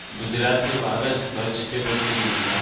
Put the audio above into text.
ગુજરાતની બાર જ કચ્છ કે પછી